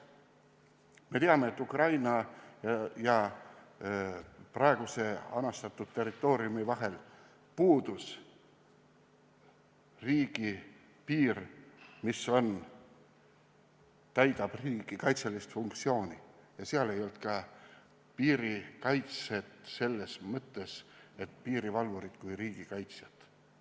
Me teame, et Ukraina ja praeguse anastatud territooriumi vahel puudus riigipiir, mis täitnuks riigikaitselist funktsiooni, ja seal ei olnud ka piirikaitset selles mõttes, et oleks olnud piirivalvurid kui riigikaitsjad.